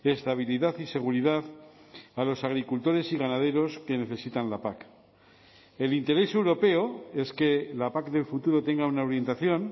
estabilidad y seguridad a los agricultores y ganaderos que necesitan la pac el interés europeo es que la pac del futuro tenga una orientación